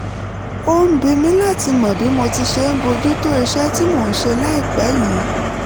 ó ń bi mí láti mọ bí mo ti ṣe ń bójú tó iṣẹ́ tí mò ń ṣe láìpẹ́ yìí